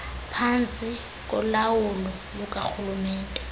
phantsi kolawulo lukarhulumente